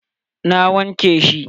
Na wanke shi.